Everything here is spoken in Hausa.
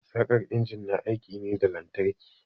Saƙar injin na aiki ne da lantarki.